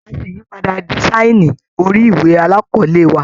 A ṣe ìyípadà dísáìnì orí ìwé alákọ̀ọ́lé wa.